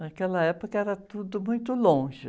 Naquela época era tudo muito longe.